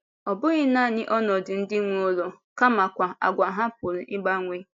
Ọ bụghị nanị ọnọdụ ndị nwe ụlọ kamakwa àgwà ha pụrụ ịgbanwe.